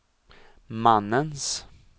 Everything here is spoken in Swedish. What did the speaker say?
mannens